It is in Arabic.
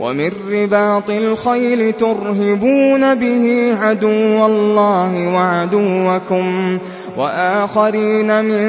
وَمِن رِّبَاطِ الْخَيْلِ تُرْهِبُونَ بِهِ عَدُوَّ اللَّهِ وَعَدُوَّكُمْ وَآخَرِينَ مِن